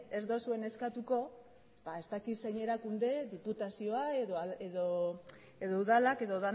ez duzuen eskatuko ba ez dakit zein erakunde diputazioa edo udalak edo